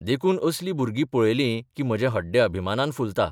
देखून असलीं भुरगीं पळयलीं की म्हजें हड्डे अभिमानान फुलता.